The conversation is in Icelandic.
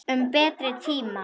Um betri tíma.